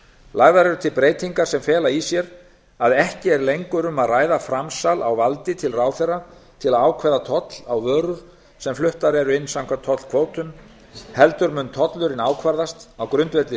lagðar eru til breytingar sem fela í sér að ekki er lengur um að ræða framsal á valdi til ráðherra til að ákveða toll á vörur sem fluttar eru inn samkvæmt tollkvótum heldur mun tollurinn ákvarðast á grundvelli